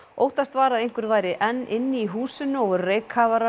óttast var að einhver væri enn inni í húsinu og voru